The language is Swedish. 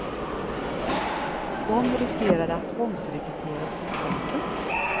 De riskerar att tvångsrekryteras till fronten.